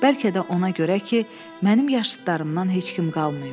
Bəlkə də ona görə ki, mənim yaşıdlarımdan heç kim qalmayıb.